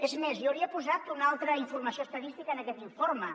és més jo hauria posat una altra informació estadística en aquest informe